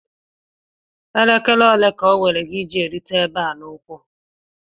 Elekere ole ka owere gi iji erute ebe a n'ụkwụ?